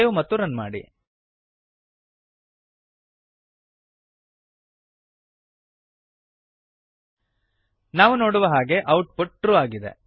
save ಮತ್ತು run ಮಾಡಿ ನಾವು ನೋಡುವ ಹಾಗೆ ಔಟ್ ಪುಟ್ ಟ್ರು ಆಗಿದೆ